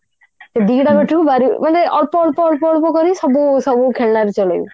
ସେ ଦିଟା battery ରୁ ଭାରି ମାନେ ଅଳ୍ପ ଅଳ୍ପ ଅଳ୍ପ ଅଳ୍ପ କରି ସବୁ ସବୁ ଖେଳଣାରେ ଚଲେଇବେ